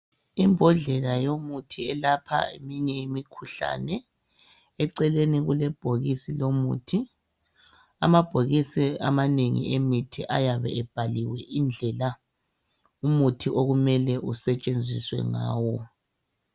Imbodlela yemithi eyelapha yonke imikhuhlane eceleni kulebhokisi amabhokisi emithi ayabe ebhaliwe indlela okumele umuthi isetshenziswe ngayo